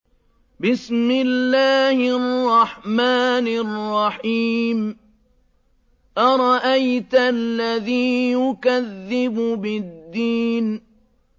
أَرَأَيْتَ الَّذِي يُكَذِّبُ بِالدِّينِ